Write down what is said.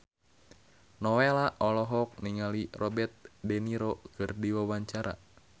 Nowela olohok ningali Robert de Niro keur diwawancara